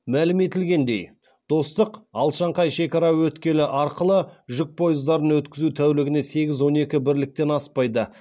мәлім етілгендей достық алашаңқай шекара өткелі арқылы жүк пойыздарын өткізу тәулігіне сегіз он екі бірліктен аспайды